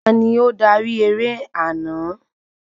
Tani ó darí eré àná?